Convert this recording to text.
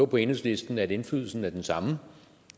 på enhedslisten at indflydelsen er den samme